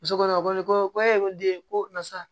Musokɔnɔma ko ne ko ko ee ko den ko karisa